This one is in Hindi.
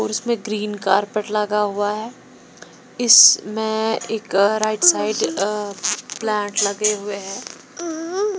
इसमें ग्रीन कार्पेट लगा हुआ है इसमें एक राइट साइड प्लांट लगे हुए हैं।